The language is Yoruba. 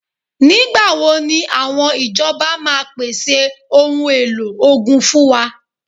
Nígbà wo ni àwọn ìjọba máa pèsè ohun èlò ogun fún wa?